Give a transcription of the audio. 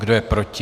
Kdo je proti?